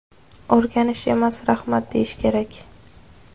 O‘rganish emas, rahmat deyish kerak.